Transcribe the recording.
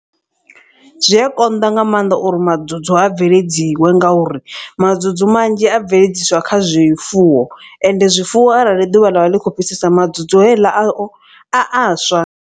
Zwi a konḓa nga maanḓa uri madzudzu a bveledziwe ngauri madzudzu manzhi a bveledziswa kha zwifuwo. Ende zwifuwo arali ḓuvha ḽa vha ḽikho fhisesa madzudzu heiḽa a o a a swa.